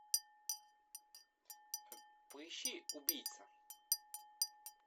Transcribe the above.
поищи убийца